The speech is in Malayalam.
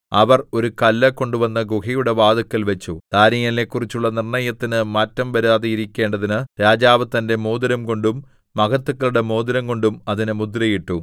അവർ ഒരു കല്ല് കൊണ്ടുവന്ന് ഗുഹയുടെ വാതില്ക്കൽവച്ചു ദാനീയേലിനെക്കുറിച്ചുള്ള നിർണ്ണയത്തിന് മാറ്റം വരാതെയിരിക്കേണ്ടതിന് രാജാവ് തന്റെ മോതിരംകൊണ്ടും മഹത്തുക്കളുടെ മോതിരംകൊണ്ടും അതിന് മുദ്രയിട്ടു